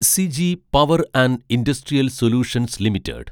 Siji power and industrial solutions limited